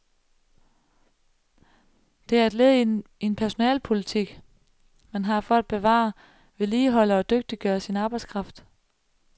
Det er et led i en personalepolitik, man har for at bevare, vedligeholde og dygtiggøre sin arbejdskraft.